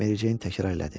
Mary Jane təkrar elədi.